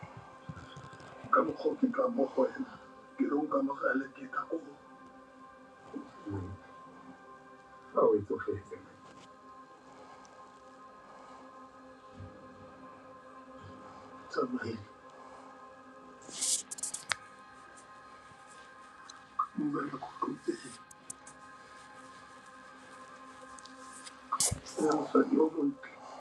ka ntsongo ka ntsongo ntirho kona kwale data ku office ku tsariwe number one one.